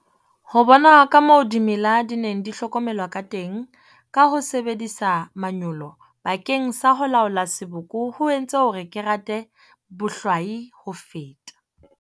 Ho bona kamoo dimela di neng di hlokomelwa kateng ka ho sebedisa manyolo bakeng sa ho laola seboko ho entse hore ke rate bohwai ho feta.